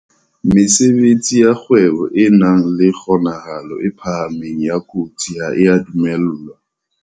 Mesebetsi ya kgwebo e nang le kgonahalo e phahameng ya kotsi ha e a dumellwa.